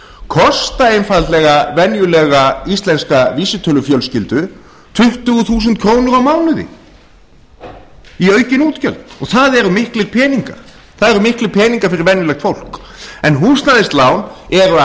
kosta einfaldlega venjulega íslenska fjölskyldu tuttugu þúsund krónur á mánuði í aukin útgjöld og það eru miklir peningar fyrir venjulegt fólk húsnæðislán eru að